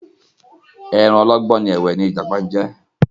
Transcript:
Ẹranko ọlọ́gbọ́n ẹ̀wẹ ni ìjàpá jẹ́.